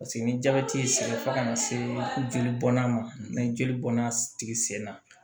Paseke ni jabɛti y'i sen fo kana se jeli bɔnna ma ni jeli bɔnna tigi sen na